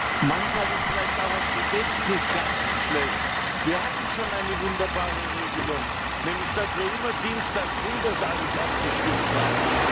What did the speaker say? Herr Präsident! Manchmal ist vielleicht auch ein Gedächtnis gar nicht schlecht. Wir hatten schon eine wunderbare Regelung nämlich dass wir immer Dienstagfrüh über das alles abgestimmt haben.